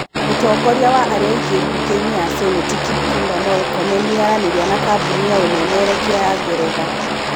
Mũtongoria wa arĩa aingĩ mbũnge-inĩ ya cenĩti Kipchumba Mũrkomen nĩaranĩria na kambũni ya ũmemerekia ya ngeretha